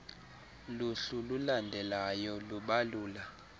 luhlu lulandelalyo lubalula